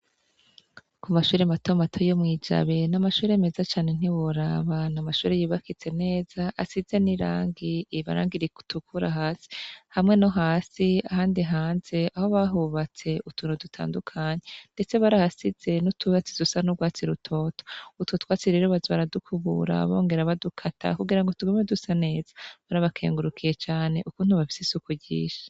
K'umashure matomato yo mw'ijabe n'amashure meza cane nti woraba, n'amashure yubakitse neza asize n'irangi, irangi ritukura hasi hamwe nohasi ahandi hanze aho bahubatse ,utuntu dutandukanye ndetse barahasize n'uturangi dusa n'urwatsi rutoto ,utwo twatsi rero baza baradukubura bongera badukata kugira ngo tugume dusa neza, turabakengurukiye cane ukuntu bafise isuku ryinshi.